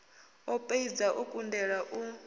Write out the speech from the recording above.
o poidza o kundelwa u